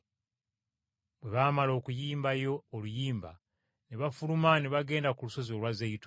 Bwe baamala okuyimbayo oluyimba ne bafuluma ne bagenda ku lusozi olwa Zeyituuni.